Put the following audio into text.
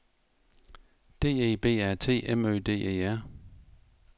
D E B A T M Ø D E R